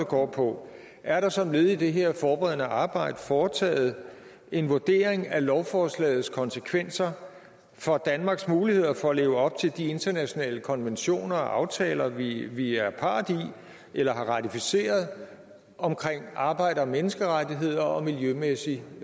går på er der som led i det her forberedende arbejde foretaget en vurdering af lovforslagets konsekvenser for danmarks muligheder for at leve op til de internationale konventioner og aftaler vi vi er part i eller har ratificeret om arbejde og menneskerettigheder og miljømæssig